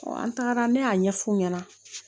an tagara ne y'a ɲɛf'u ɲɛna